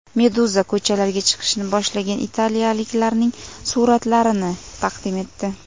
Meduza ko‘chalarga chiqishni boshlagan italiyaliklarning suratlarini taqdim etdi .